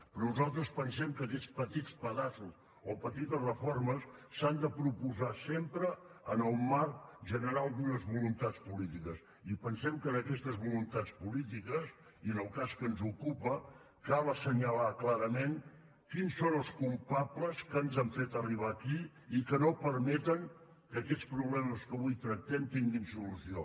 però nosaltres pensem que aquests petits pedaços o petites reformes s’han de proposar sempre en el marc general d’unes voluntats polítiques i pensem que en aquestes voluntats polítiques i en el cas que ens ocupa cal assenyalar clarament quins són els culpables que ens han fet arribar aquí i que no permeten que aquests problemes que avui tractem tinguin solució